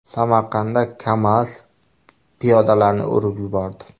Samarqandda KamAZ piyodalarni urib yubordi.